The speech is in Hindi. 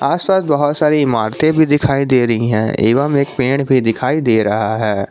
आस पास बहुत सारी इमारतें भी दिखाई दे रही हैं एवं एक पेड़ भी दिखाई दे रहा है।